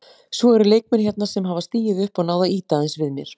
Svo eru leikmenn hérna sem hafa stigið upp og náð að ýta aðeins við mér.